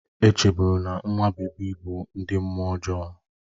E chebụrụ na nwa bebi bụ ndị mmụọ ọjọọ